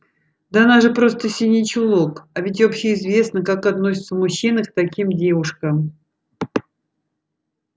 да она же просто синий чулок а ведь общеизвестно как относятся мужчины к таким девушкам